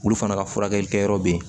Olu fana ka furakɛli kɛyɔrɔ be yen